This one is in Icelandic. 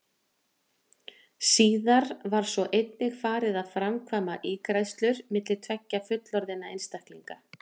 Síðar var svo einnig farið að framkvæma ígræðslur milli tveggja fullorðinna einstaklinga.